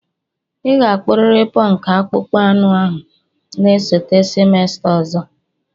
Ị ga-akpuriri punk akpụkpọ anụ ahụ na-esote semester ọzọ!